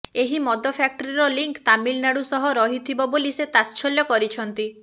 ଏହି ମଦ ଫ୍ୟାକ୍ଟ୍ରିର ଲିଙ୍କ ତାମିଲନାଡୁ ସହ ରହିଥିବ ବୋଲି ସେ ତାତ୍ସଲ୍ୟ କରିଛନ୍ତି